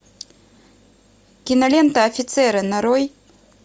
кинолента офицеры нарой